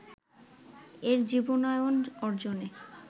এর জীবনায়ন অর্জনে